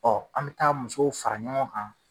Ɔ an bi taa musow fara ɲɔgɔn kan